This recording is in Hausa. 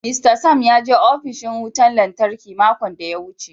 "Mr Sam" ya je opishin wutan lantarki makon daya wuce.